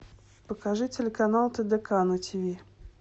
покажи телеканал тдк на тв